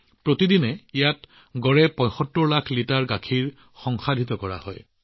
গড়ে ইয়াত প্ৰতিদিনে ৭৫ লাখ লিটাৰ গাখীৰ সংসাধন কৰা হয়